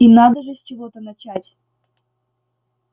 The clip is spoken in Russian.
и надо же с чего-то начать